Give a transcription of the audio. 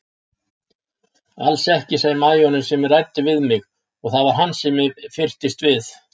Alls ekki sagði majórinn sem ræddi við mig og það var sem hann fyrtist við.